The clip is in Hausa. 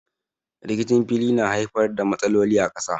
Rikicin fili na haifar da matsaloli a ƙasa.